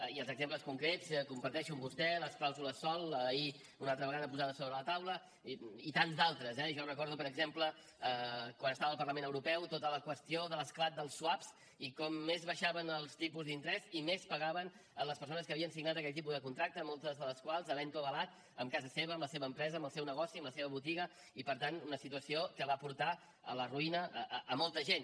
i dels exemples concrets comparteixo amb vostè les clàusules sòl ahir una altra vegada posades sobre la taula i tants d’altres eh jo recordo per exemple quan estava al parlament europeu tota la qüestió de l’esclat dels swaps i com més baixaven els tipus d’interès i més pagaven les persones que havien signat aquell tipus de contracte moltes de les quals havent ho avalat amb casa seva amb la seva empresa amb el seu negoci amb la seva botiga i per tant una situació que va portar a la ruïna molta gent